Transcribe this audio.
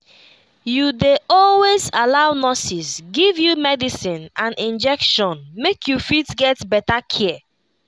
you dey always allow nurses give you medicine and injection make you fit get better care.